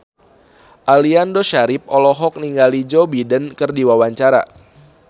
Aliando Syarif olohok ningali Joe Biden keur diwawancara